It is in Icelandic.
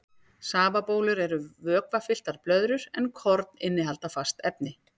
Safabólur eru vökvafylltar blöðrur en korn innihalda fast efni.